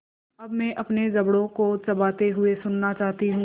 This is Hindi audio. अब मैं अपने जबड़ों को चबाते हुए सुनना चाहती हूँ